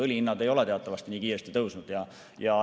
Õlihinnad ei ole teatavasti nii kiiresti tõusnud.